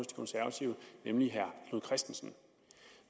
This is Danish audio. konservative nemlig herre knud kristensen